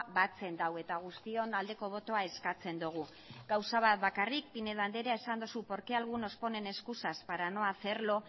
batzen du eta guztion aldeko botoa eskatzen dugu gauza bat bakarrik pinedo andreak esan duzu por qué algunos ponen excusas para no hacerlo